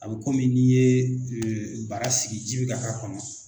A bɛ komi n'i ye baara sigi ji bi ka k'a kɔnɔ